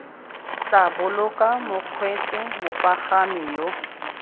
tla boloka bakgweetsi mopagami yo